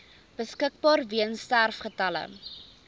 beskikbaar weens sterfgevalle